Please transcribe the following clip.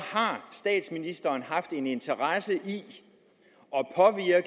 statsministeren haft en interesse i